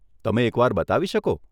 તમે એકવાર બતાવી શકો?